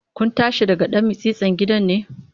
Kun tashi daga ɗan mitsitsin gidan ne?